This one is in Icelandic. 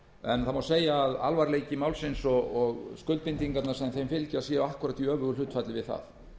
en segja má að alvarleiki málsins og skuldbindingarnar sem þeim fylgja séu akkúrat í öfugu hlutfalli við það